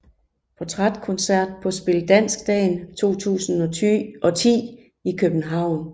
Portrætkoncert på Spil Dansk Dagen 2010 i København